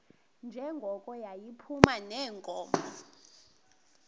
njengoko yayiphuma neenkomo